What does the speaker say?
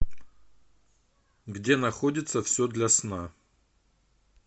где находится все для сна